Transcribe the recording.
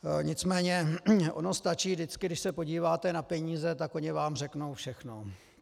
Nicméně ono stačí vždycky, když se podíváte na peníze, tak oni vám řeknou všechno.